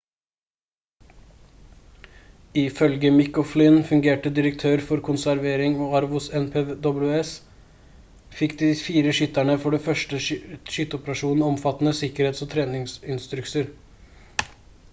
ifølge mick o'flynn fungerende direktør for konservering og arv hos npws fikk de fire skytterne for den første skyteoperasjonen omfattende sikkerhets- og treningsinstrukser